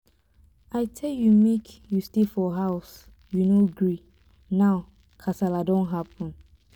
i tell you make you stay for house you no gree now kasala don happen.